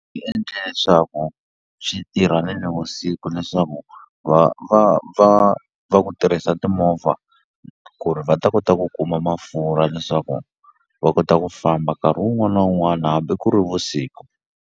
endla leswaku swi tirha ni nivusiku leswaku va va va va ku tirhisa timovha ku ri va ta kota ku kuma mafurha leswaku va kota ku famba nkarhi wun'wana na wun'wana hambi ku ri vusiku.